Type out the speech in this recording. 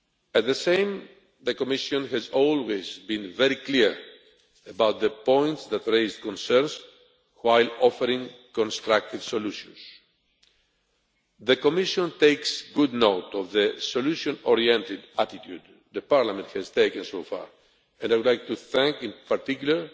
At the same time, the Commission has always been very clear about the points that raised concerns while offering constructive solutions. The Commission takes good note of the solution oriented attitude the Parliament has taken so far, and I would like to thank in particular